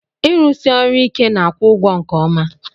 Irụsi ọrụ ike n'akwụ ụgwo nke ọma.